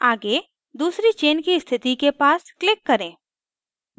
आगे दूसरी chain की स्थिति के पास click करें